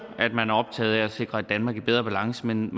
jo at sikre et danmark i bedre balance men